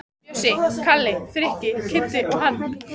Bjössi, Kalli, Frikki, Kiddi og hann.